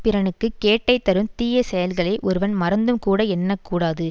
பிறனுக்கு கேட்டை தரும் தீய செயல்களை ஒருவன் மறந்தும் கூட எண்ண கூடாது